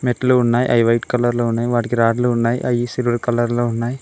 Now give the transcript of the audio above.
మెట్లు ఉన్నాయి అవి వైట్ కలర్లో ఉన్నాయి వాడికి రాడ్లు ఉన్నాయి అవి సిల్వర్ కలర్లో ఉన్నాయి.